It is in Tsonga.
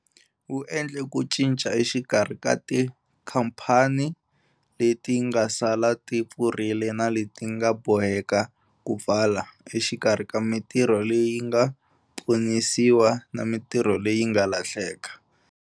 Wu endle ku cinca exikarhi ka tikhamphani leti nga sala ti pfurile na leti ti nga boheka ku pfala, exikarhi ka mitirho leyi nga ponisiwa na mitirho leyi nga lahleka.